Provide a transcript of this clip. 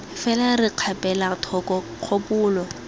fela re kgapela thoko kgopolo